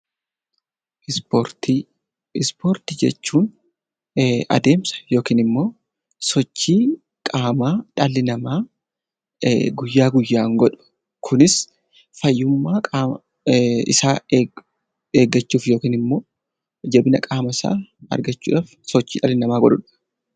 Ispoortii Ispoortii jechuun adeemsa yookiin sochii qaamaa dhalli namaa guyyaa guyyan godhu. Kunis fayyummaa qaama isaa eeggachuuf yookiin immoo jabina qaama isaa argachuuf sochii dhalli namaa godhudha.